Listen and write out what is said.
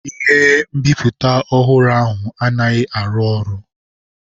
Ihe nbiputa ọhụrụ ahụ anaghị arụ ọrụ.